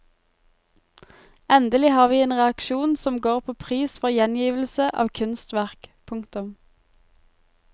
Endelig har vi en reaksjon som går på pris for gjengivelse av kunstverk. punktum